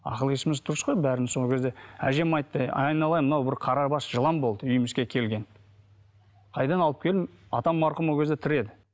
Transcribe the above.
ақыл есіміз дұрыс қой бәріміз сол кезде әжем айтты әй айналайын мынау бір қара бас жылан болды үйімізге келген қайдан алып келдің атам марқұм ол кезде тірі еді